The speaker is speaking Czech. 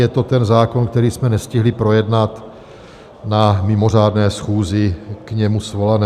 Je to ten zákon, který jsme nestihli projednat na mimořádné schůzi k němu svolené.